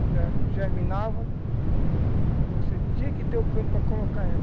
Quando ela germinava, aí você tinha que ter o canto para colocar ela.